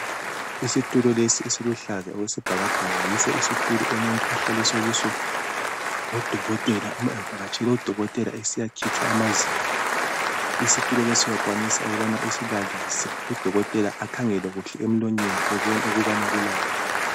Isitulo lesi esiluhlaza okwesibhakbhaka yiso isitulo umuntu ahlaliswa kiso ngo dokotela uma evakatshele odokotela esiya khitshwa amazinyo isitulo lesi uyakwanisa ukubana usilalise udokotela akhangele kuhle emlonyeni ebone ukuba kulani.